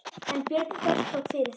en Björn þvertók fyrir það.